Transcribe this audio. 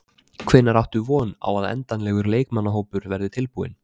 Hvenær áttu von á að endanlegur leikmannahópur verði tilbúinn?